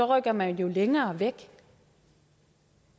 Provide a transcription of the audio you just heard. rykker man længere væk